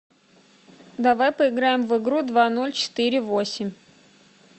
давай поиграем в игру два ноль четыре восемь